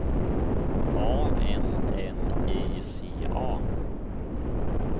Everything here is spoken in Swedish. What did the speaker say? A N N I C A